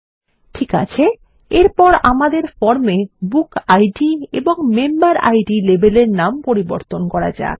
ঠিক আছে এরপর আমাদের ফর্মে বুকিড এবং মেম্বেরিড লেবেল এর নাম পরিবর্তন করা যাক